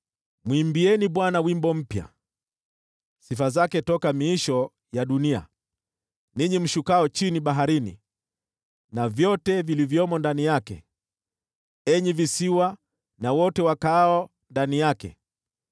Mwimbieni Bwana wimbo mpya, sifa zake toka miisho ya dunia, ninyi mshukao chini baharini, na vyote vilivyomo ndani yake, enyi visiwa na wote wakaao ndani yake.